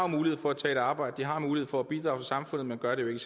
mulighed for at tage et arbejde de har mulighed for at bidrage til samfundet men gør det